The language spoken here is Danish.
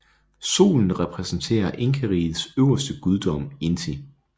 Solen repræsenterer Inkarigets øverste guddom Inti